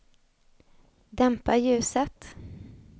dämpa ljuset